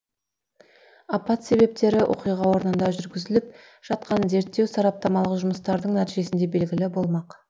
апат себептері оқиға орнында жүргізіліп жатқан зерттеу сараптамалық жұмыстардың нәтижесінде белгілі болмақ